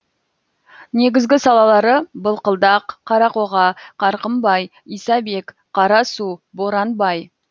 негізгі салалары былқылдақ қарақоға қарқымбай исабек қарасу боранбай